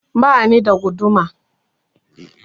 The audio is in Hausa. Bani da guduma